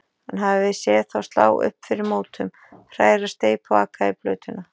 Hann hafði séð þá slá upp fyrir mótum, hræra steypu og aka í plötuna.